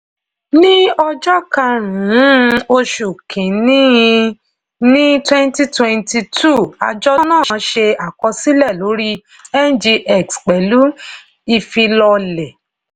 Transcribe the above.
ní ọjọ́ karùn-ún oṣù kin-in-ni twenty twenty two àjọ náà ṣe àkọsílẹ̀ lórí ngx pẹ̀lú ifilọlẹ̀.